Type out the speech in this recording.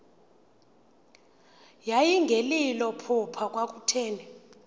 yayingelilo phupha kwakutheni